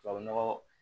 Tubabu nɔgɔ